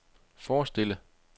forestille